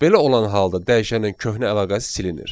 Belə olan halda dəyişənin köhnə əlaqəsi silinir.